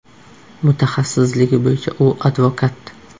Mutaxassisligi bo‘yicha u advokat.